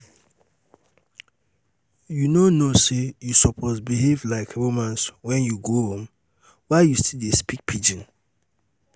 you no know know say you suppose behave like romans when you go rome? why you still dey speak pidgin?